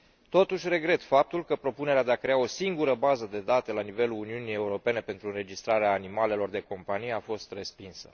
Totuși, regret faptul că propunerea de a crea o singură bază de date la nivelul Uniunii Europene pentru înregistrarea animalelor de companie a fost respinsă.